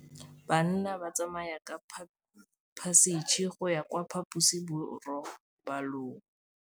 Bana ba tsamaya ka phašitshe go ya kwa phaposiborobalong.